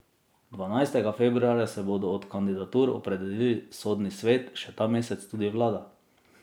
Dvanajstega februarja se bo do kandidatur opredelil sodni svet, še ta mesec tudi vlada.